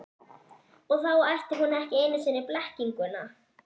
Og þá ætti hún ekki einu sinni blekkinguna.